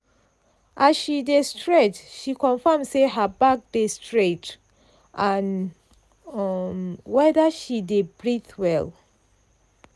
as she dey stretch she confirm say her back dey straight and um wether she dey breath well.